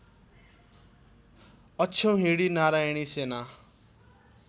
अक्षौहिणी नारायणी सेना